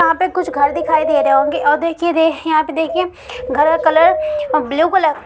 यहाँ पे कुछ घर दिखाई दे रहे होंगे और देखिए दे यहाँ पे देखिए घर का कलर ब्लू कलर --